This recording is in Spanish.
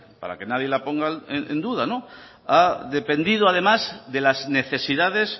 para que nadie la ponga en duda ha dependido además de las necesidades